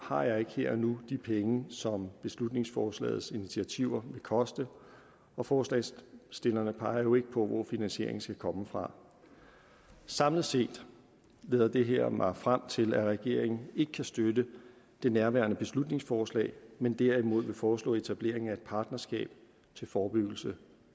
har jeg ikke her og nu de penge som beslutningsforslagets initiativer vil koste og forslagsstillerne peger jo ikke på hvor finansieringen skal komme fra samlet set leder det her mig frem til at regeringen ikke kan støtte nærværende beslutningsforslag men derimod vil foreslå etablering af et partnerskab til forebyggelse